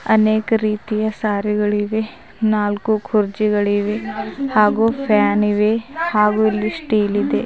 ಅನೇಕ ರೀತಿಯ ಸ್ಯಾರಿ ಗಳಿವೆ ನಾಲ್ಕು ಕುರ್ಚಿಗಳಿವೆ ಹಾಗೂ ಫ್ಯಾನ್ ಇವೆ ಹಾಗೂ ಇಲ್ಲಿ ಸ್ಟೀಲ್ ಇದೆ.